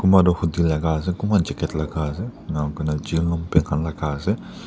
Kunba tuh hoodie laga ase kunba jacket laga ase enika kona Jean longpant laga ase.